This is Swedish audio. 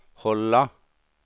hålla